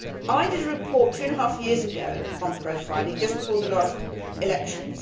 I did a report two and a half years ago on profiling, just before the last elections.